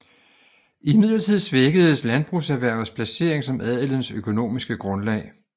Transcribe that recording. Imidlertid svækkedes landbrugserhvervets placering som adelens økonomiske grundlag